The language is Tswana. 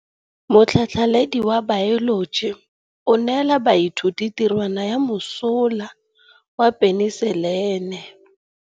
Motlhatlhaledi wa baeloji o neela baithuti tirwana ya mosola wa peniselene.